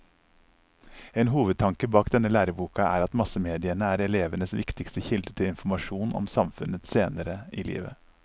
En hovedtanke bak denne læreboka er at massemediene er elevenes viktigste kilde til informasjon om samfunnet senere i livet.